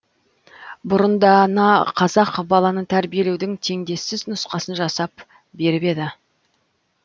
бұрын дана қазақ баланы тәрбиелеудің теңдессіз нұсқасын жасап беріп еді